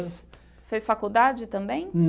Fez faculdade também?